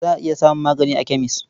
Za a iya samun magani a kemes.